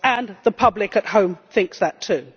And the public at home thinks that too.